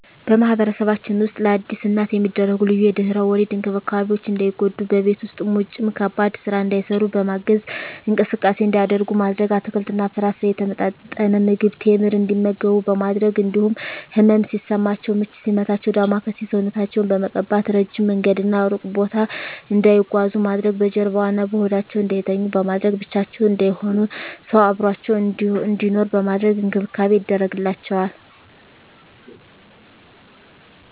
በማህበረሰባችን ውስጥ ለአዲስ እናት የሚደረጉ ልዩ የድህረ ወሊድ እንክብካቤዎች እንዳይጎዱ በቤት ውስጥም ውጭም ከባድ ስራ እንዳይሰሩ በማገዝ፣ እንቅስቃሴ እንዲያደርጉ ማድረግ፣ አትክልትና ፍራፍሬ፣ የተመጣጠነ ምግብ፣ ቴምር እንዲመገቡ በማድረግ እንዲሁም ህመም ሲሰማቸው ምች ሲመታቸው ዳማከሴ ሰውነታቸውን በመቀባት፣ እረጅም መንገድና እሩቅ ቦታ እንዳይጓዙ ማድረግ፣ በጀርባዋ እና በሆዳቸው እንዳይተኙ በማድረግ፣ ብቻቸውን እንዳይሆኑ ሰው አብሮአቸው እንዲኖር በማድረግ እንክብካቤ ይደረግላቸዋል።